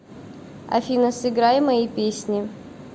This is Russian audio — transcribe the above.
афина сыграй мои песни